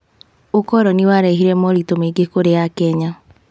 ũkoroni warehire moritũ maingĩ kũrĩ Akenya.